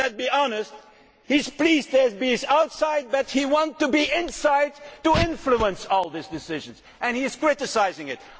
Commons. But let us be honest he is pleased to be outside but he wants to be inside to influence all these decisions, and he is criticising